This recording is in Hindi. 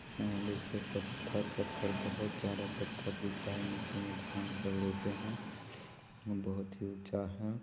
हां देखिये पत्थर पत्थर बहुत ज्यादा पत्थर दिख रहे हैं नीचे मे धान सब रोपे हैं बहुत ही ऊँचा है।